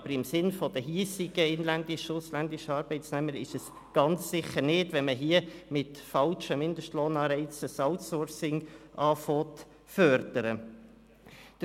Aber im Sinne der hiesigen, inländischen und ausländischen Arbeitnehmer ist es ganz sicher nicht, wenn man hier das Outsourcing mit falschen Mindestlohnanreizen zu fördern beginnt.